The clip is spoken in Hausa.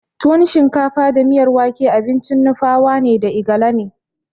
Tuwon shinkafa da miyar wake abincin Nupawa da Igala ne.